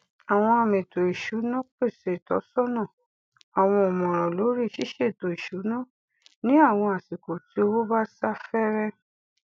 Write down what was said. àwọn amètò ìṣúná pèsè ìtọsọnà àwọn ọmọràn lórí ṣíṣètò ìṣúná ní àwọn àsìkò tí owó bá sá fẹẹrẹ